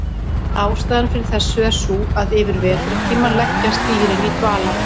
Ástæðan fyrir þessu er sú að yfir vetrartímann leggjast dýrin í dvala.